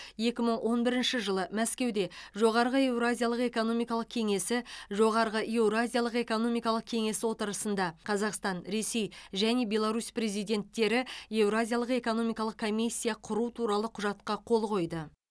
екі мың он бірінші жылы мәскеуде жоғарғы еуразиялық экономикалық кеңесі жоғарғы еуразиялық экономикалық кеңесі отырысында қазақстан ресей және беларусь президенттері еуразиялық экономикалық комиссия құру туралы құжатқа қол қойды